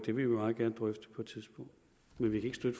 vil vi meget gerne drøfte på et tidspunkt men vi kan